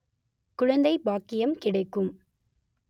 குழந்தை பாக்கியம் கிடைக்கும்